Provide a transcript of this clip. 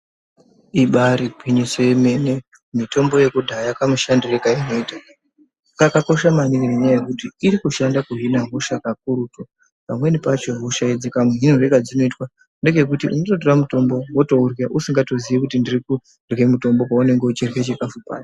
Ibairi gwinyiso yemene mitombo yekudhaya ine kamushandire kainoita kakakosha maningi nenyaya yekuti iri kushanda kuhina hosha kakurutu pamweni pacho hosha idzi kamuhinirwe kadzinoitwa ngekekuti unototora mutombo wotourya usingatozive kuti uri kurya mutombo paunenge uchirya chikafu paye.